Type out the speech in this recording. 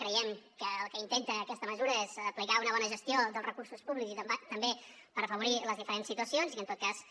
creiem que el que intenta aquesta mesura és aplicar una bona gestió dels recursos públics i també per afavorir les diferents situacions i en tot cas